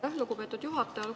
Aitäh, lugupeetud juhataja!